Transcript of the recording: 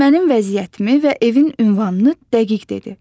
Mənim vəziyyətimi və evin ünvanını dəqiq dedi.